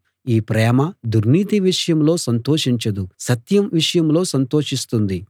ఈ ప్రేమ దుర్నీతి విషయంలో సంతోషించదు సత్యం విషయంలో సంతోషిస్తుంది